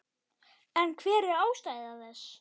En hver er ástæða þessa?